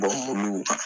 mobiliw